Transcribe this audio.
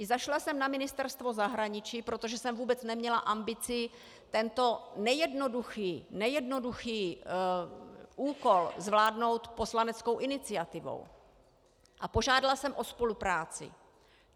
I zašla jsem na Ministerstvo zahraničí, protože jsem vůbec neměla ambici tento nejednoduchý úkol zvládnout poslaneckou iniciativou, a požádala jsem o spolupráci.